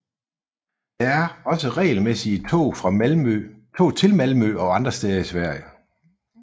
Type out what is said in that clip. Der er også regelmæssige tog til Malmø og andre steder i Sverige